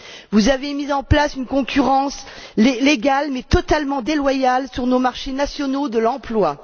Vous avez mis en place une concurrence légale mais totalement déloyale sur nos marchés nationaux de l'emploi.